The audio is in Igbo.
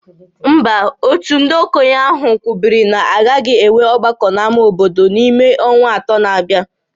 Mba, òtù ndị okenye ahụ kwubiri na a gaghị enwe ọgbakọ n'ámá obodo n'ime ọnwa atọ na-abịa